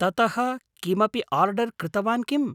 ततः किमपि आर्डर् कृतवान् किम्?